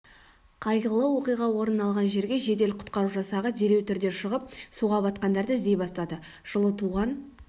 қайғылы оқиға орын алғар жерге жедел-құтқару жасағы дереу түрде шығып суға батқандарды іздей бастады жылы туған